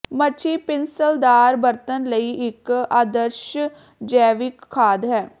ਮੱਛੀ ਪਿੰਸਲਦਾਰ ਬਰਤਨ ਲਈ ਇੱਕ ਆਦਰਸ਼ ਜੈਵਿਕ ਖਾਦ ਹੈ